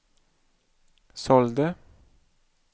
sålde